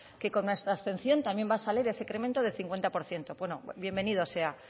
que con nuestra abstención también va a salir ese incremento del cincuenta por ciento bienvenido sea